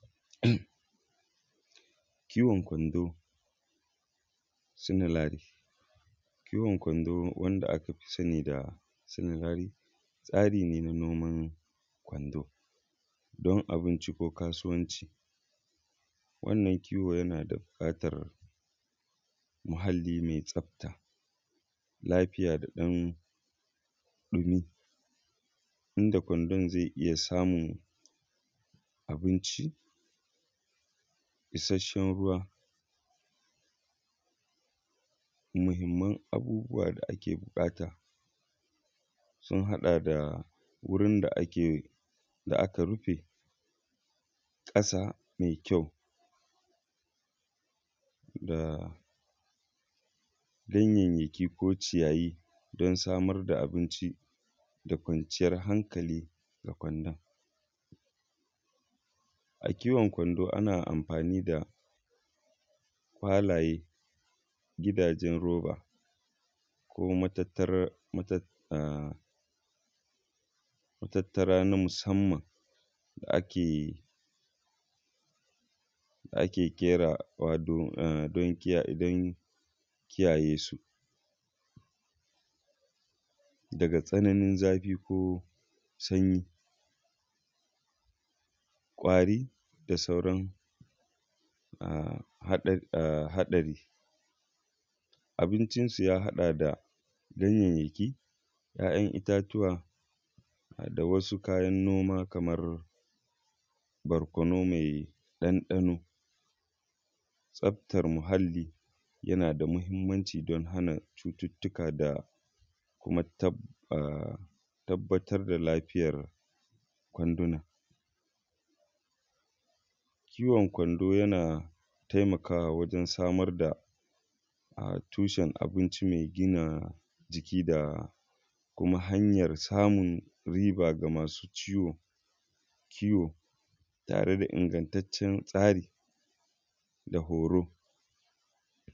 Kiwon kwando sinalari, kiwon kwando wanda ska fi sani da sinalari tsari ne noman kwando don abinci ko kasuwan. Wannan yana buƙatar muhalli mai tsafta lafiya da ina kwandon zai iya samun abinci isasshen ruwa. Muhimman abubuwa da ake buƙata sun haɗa da: wurin da aka rufe ƙasa mai ƙyau, da ganyayyaki ko cikiyayi don samar da kwanciyar hankali ga kwandon. A kiwon kwando ana amfani da kwalaye gidajen roba ko matattarar na musamman da ake ƙera don kiyaye su daga tsananin zafi ko sanyi kwari da sauran haɗari. Abincinsu ya haɗa da ganyayyaki ya'yan itatuwa da wasu kayan noma kamar barkono mai ɗanɗano tsaftar muhalli yana da muhimmanci don hana cututtuka da kuma tabbatar da lafiyar kwanduna. Kiwon kwando yana taimakawa wajen samar da tushen abincin mai gina jiki kuma hanyar samun riga ga masu kiwo da ingantaccen tsari da horo.